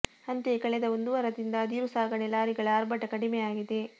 ಅಂತೆಯೇ ಕಳೆದ ಒಂದು ವಾರದಿಂದ ಅದಿರು ಸಾಗಣೆ ಲಾರಿಗಳ ಆರ್ಭಟ ಕಡಿಮೆಯಾಗಿದೆ